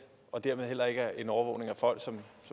og dermed heller ikke en overvågning af folk som